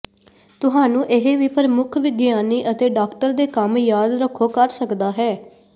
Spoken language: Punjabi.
ਤੁਹਾਨੂੰ ਇਹ ਵੀ ਪ੍ਰਮੁੱਖ ਵਿਗਿਆਨੀ ਅਤੇ ਡਾਕਟਰ ਦੇ ਕੰਮ ਯਾਦ ਰੱਖੋ ਕਰ ਸਕਦਾ ਹੈ